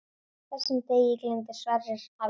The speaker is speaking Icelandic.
Þessum degi gleymdi Sverrir aldrei.